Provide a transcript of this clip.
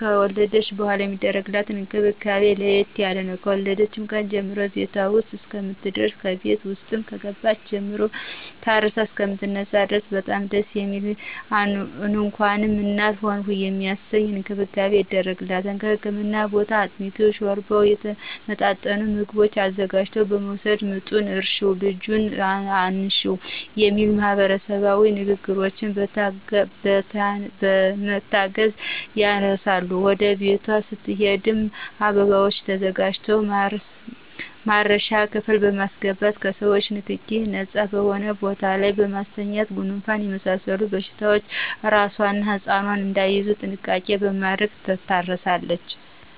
ከወለደች በኃላ የሚደረግላት እንክብካቤ ለየት ያለ ነው። ከወለደች ቀን ጀምሮ በቤቷ ውስጥ እስከምትደርስና ከቤት ውስጥም ከገባች ጀምሮ ታርሳ እሰከምትነሳ ድረስ በጣም ደስ የሚል እንኳንም እናት ሆንሁ የሚያሰኝ እንክብካቤ ይደረግላታል ከህክምና ቦታ አጥሚቱን: ሾርባውና የተመጣጠኑ ምግቦችን አዘጋጅቶ በመወሰድ ምጡን እርሽው ልጁን አንሽው በሚል ማህበረሰባዊ ንግግሮች በመታገዝ ያርሳሉ ወደ ቤቷ ስትሄድም አበባዎች ተዘጋጅተው ማረሻ ክፍል በማሰገባት ከሰዎቾ ንክኪ ነጻ በሆነ ቦታ ላይ በማስተኛት ጉንፋንና የመሳሰሉት በሽታዎች አራሷና ህጻኑ እዳይያዙ ጥንቃቄ በማድረግ ትታረሳለች